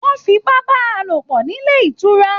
Wọn f'ipa bá a lopọ nílé ìtura.